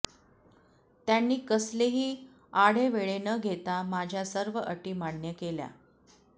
त्यांनी कसलेही आढेवेढे न घेता माझ्या सर्व अटी मान्य केला